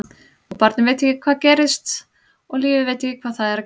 Og barnið veit ekki hvað gerist og lífið veit ekki hvað það er að gera.